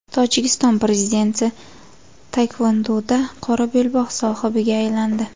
Tojikiston prezidenti taekvondoda qora belbog‘ sohibiga aylandi.